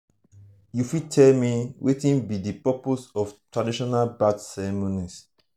you fit tell me wetin be di purpose of traditional birth ceremonies?